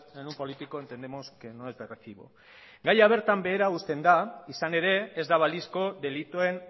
en un político entendemos que no es de recibo gaia bertan behera uzten da izan ere ez da balizko delituen